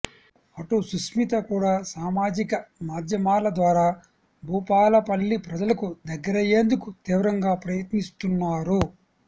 అటు సుష్మిత కూడా సామాజిక మాధ్యమాల ద్వారా భూపాలపల్లి ప్రజలకు దగ్గరయ్యేందుకు తీవ్రంగా ప్రయత్నిస్తున్నారు